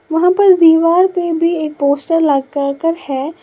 वहां पर दीवाल पे भी एक पोस्टर लगाकर है।